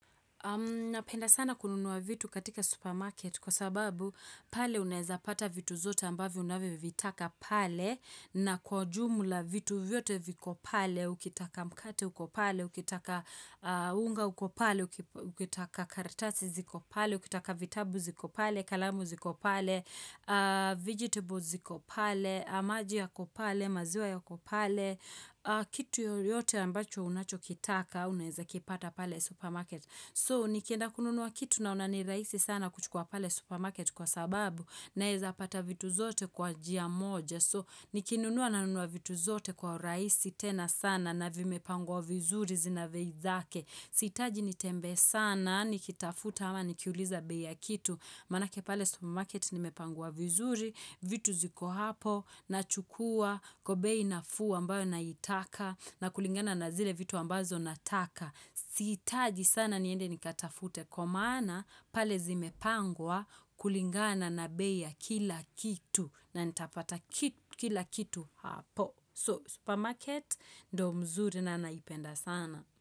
Napenda sana kununuwa vitu katika supermarket kwa sababu pale unaeza pata vitu zote ambavyo unavyo vitaka pale na kwa ujumla vitu vyote viko pale, ukitaka mkate uko pale, ukitaka unga uko pale, ukitaka karatasi ziko pale, ukitaka vitabu ziko pale, kalamu ziko pale, vegetables ziko pale maji yako pale, maziwa yako pale kitu yoyote ambacho unachokitaka unaeza kipata pale supermarket so nikienda kununuwa kitu naona ni rahisi sana kuchukua pale supermarket kwa sababu naeza pata vitu zote kwa njia moja so nikinunuwa nanunuwa vitu zote kwa uraisi tena sana na vimepangwa vizuri zina bei zake siitaji nitembea sana nikitafuta ama nikiuliza bei ya kitu Manake pale supermarket nimepangwa vizuri, vitu ziko hapo, nachukua, kwa bei nafuu ambayo naitaka, na kulingana na zile vitu ambazo nataka. Siitaji sana niende nikatafute, kwa maana pale zimepangwa kulingana na bei ya kila kitu, na ndapata kila kitu hapo. So, supermarket ndio mzuri na naipenda sana.